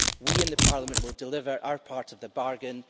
We in the Parliament will deliver our part of the bargain.